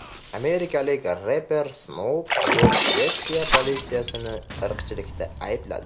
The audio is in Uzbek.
Amerikalik reper Snoop Dogg Shvetsiya politsiyasini irqchilikda aybladi.